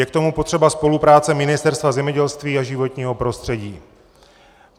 Je k tomu potřeba spolupráce Ministerstva zemědělství a životního prostředí.